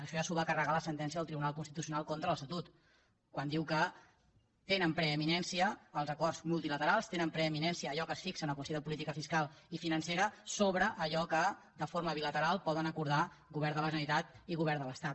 això ja s’ho va carregar la sentència del tribunal constitucional contra l’estatut quan diu que tenen preeminència els acords multilaterals té preeminència allò que es fixa en el consell de política fiscal i financera sobre allò que de forma bilateral poden acordar govern de la generalitat i govern de l’estat